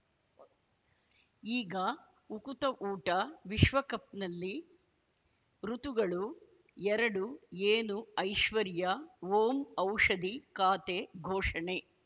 ಈಗ ಉಕುತ ಊಟ ವಿಶ್ವಕಪ್‌ನಲ್ಲಿ ಋತುಗಳು ಎರಡು ಏನು ಐಶ್ವರ್ಯಾ ಓಂ ಔಷಧಿ ಖಾತೆ ಘೋಷಣೆ